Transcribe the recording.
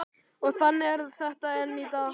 Og þannig er þetta enn í dag.